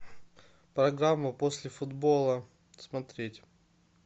программу после футбола смотреть